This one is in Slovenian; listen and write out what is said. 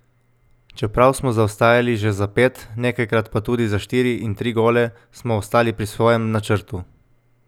Čeprav smo zaostajali že za pet, nekajkrat pa tudi za štiri in tri gole, smo ostali pri svojem načrtu.